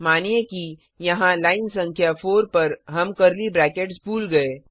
मानिए कि यहाँ लाइन संख्या 4 पर हम कर्ली ब्रैकेट्स भूल गए